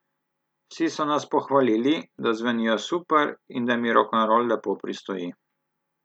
Vsi so nas pohvalili, da zvenijo super in da mi rokenrol lepo pristoji.